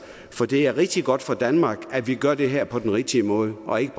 for det er rigtig godt for danmark at vi gør det her på den rigtige måde og ikke